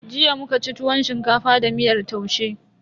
Jiya muka ci tuwon shinkafa da miyar taushe.